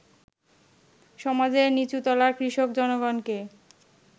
সমাজের নীচুতলার কৃষক জনগণকে